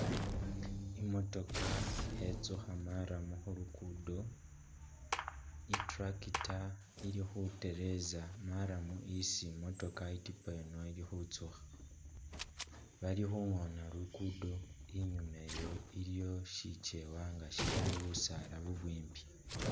Imotokha khetsukha marram khu luguudo, i'tractor khetereza marram isi i'motokha i'tipa yino ili khutsukha, bali khungona luguudo inyuuma eyo iliyo shikeewa nga shilimo busaala bubwimbi.